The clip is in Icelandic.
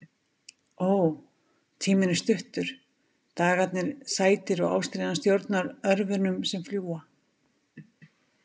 Ó, tíminn er stuttur, dagarnir sætir og ástríðan stjórnar örvunum sem fljúga.